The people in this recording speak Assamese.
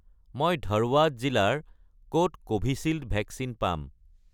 মই ধৰৱাদ জিলাৰ ক'ত কোভিচিল্ড ভেকচিন পাম?